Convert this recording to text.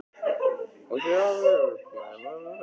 Hún sé al- veg kol- ómöguleg í svonalagað.